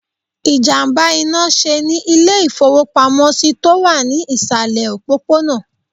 Ìjàmbá iná sè ní Ilé ìfowópamósí tó wà ní ìsàlẹ̀ òpópónà